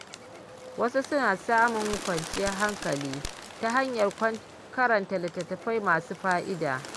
Wasu suna samun kwanciyar hankali ta hanyar karanta littattafai masu fa’ida.